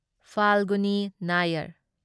ꯐꯥꯜꯒꯨꯅꯤ ꯅꯌꯥꯔ